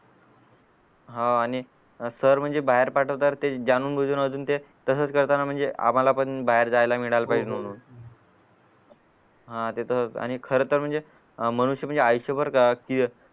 हा आणि सर म्हणजे बाहेर पाठवतात ते अजून ते तसाच करताना म्हणजे आम्हाला पण बाहेर जायला मिळालं पाहिजे हा ते तर येच अआणि खरा तर म्हणजे अह मनुष्य म्हणजे आयुष्यभर